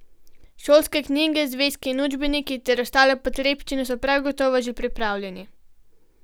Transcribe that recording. Šolske knjige, zvezki in učbeniki ter ostale potrebščine so prav gotovo že pripravljeni.